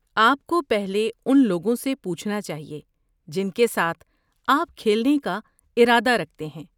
آپ کو پہلے ان لوگوں سے پوچھنا چاہیے جن کے ساتھ آپ کھیلنے کا ارادہ رکھتے ہیں۔